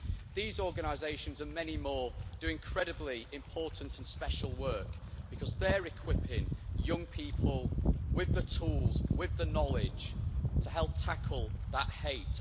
These organisations and many more do incredibly important and special work, because they are equipping young people with the tools, with the knowledge, to help tackle that hate.